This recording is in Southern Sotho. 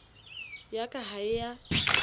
ya ka ha e a